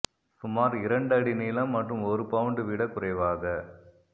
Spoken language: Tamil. சுமார் இரண்டு அடி நீளம் மற்றும் ஒரு பவுண்டு விட குறைவாக